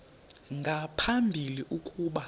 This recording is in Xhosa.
nga phambili ukuba